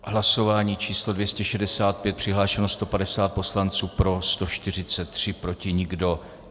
Hlasování číslo 265, přihlášeno 150 poslanců, pro 143, proti nikdo.